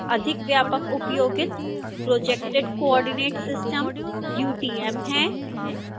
अधिक व्यापक उपयोगित projected coordinate system utm है